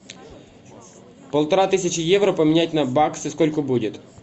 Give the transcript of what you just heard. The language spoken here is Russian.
полтора тысячи евро поменять на баксы сколько будет